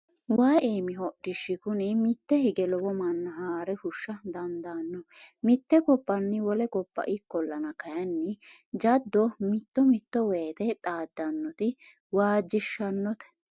Waayi iimi hodishi kunu mite hige lowo manna haare fushsha dandaano mite gobbanni wole gobba ikkollanna kayinni jado mitto mitto woyte xaadanoti waajishanote.